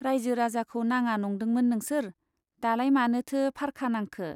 राइजो राजाखौ नाङा नंदोंमोन नोंसोर , दालाय मानोथो फारखा नांखो ?